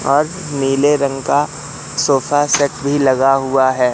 और नीले रंग का सोफा सेट भी लगा हुआ है।